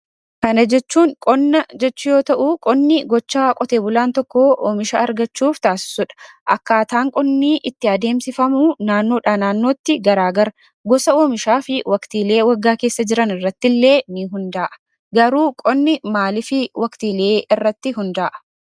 Kana jechuun qonna jechuu yoo ta'u, qonni gochaa qotee bulaan tokko oomisha argachuuf tasiisudha. Akkaataan qonni itti adeemsifamu naannoodhaa naannootti garaagara. Gosa oomishaa fi waaqtiilee waggaa keessa jiran irrattillee in hunda'a. Garuu qonni maaliif waqtiilee irratti hunda'a?